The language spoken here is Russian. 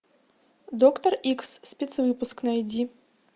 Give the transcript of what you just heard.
доктор икс спецвыпуск найди